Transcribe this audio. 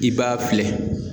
I b'a filɛ